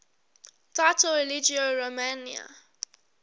title religio romana